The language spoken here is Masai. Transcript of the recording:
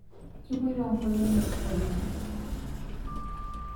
kepoto nkolongi oleng